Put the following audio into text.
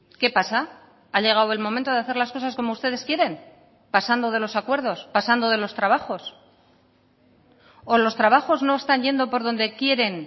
qué pasa ha llegado el momento de hacer las cosas como ustedes quieren pasando de los acuerdos pasando de los trabajos o los trabajos no están yendo por dónde quieren